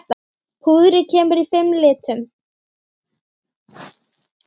Púðrið kemur í fimm litum.